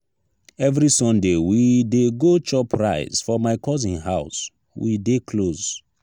every sunday we dey go chop rice for my cousin house we dey close.